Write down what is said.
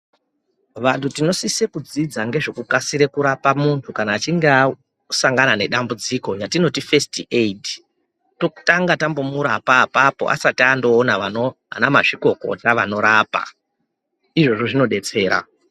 Vantu tinosisa kudzidza ngezvekukasira kurapa muntu kana achinge asangana nedambudziko ratinoti fesiti aidhi totanga tambomurapa apapo asati andoona anamazvikokota vanorapa izvozvo zvinodetsera